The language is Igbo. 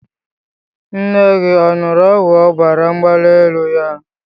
Nne gị ọ̀ ṅuru ọgwụ ọbara mgbali elu ya?